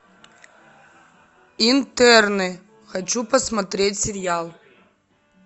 интерны хочу посмотреть сериал